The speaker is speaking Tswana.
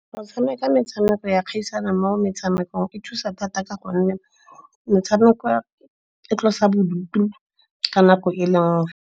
Go tshameka metshameko ya kgaisano mo metshamekong e thusa thata ka gonne metshameko e tlosa bodutu ka nako e le nngwe.